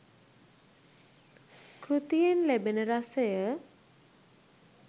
කෘතියෙන් ලැබෙන රසය